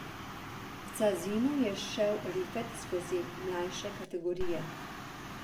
V Cazinu je šel Rifet skozi mlajše kategorije.